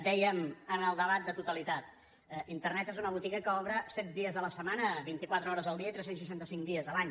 dèiem en el debat de totalitat internet és una botiga que obre set dies la setmana vint i quatre hores el dia i tres cents i seixanta cinc dies l’any